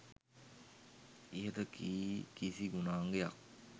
ඉහත කී කිසි ගුණාංගයක්